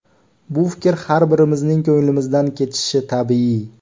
Bu fikr har birimizning ko‘ngilimizdan kechishi tabiiy.